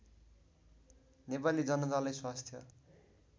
नेपाली जनतालाई स्वास्थ्य